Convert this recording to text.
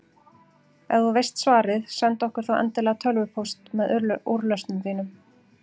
Ef þú veist svarið, sendu okkur þá endilega tölvupóst með úrlausnum þínum.